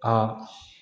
Aa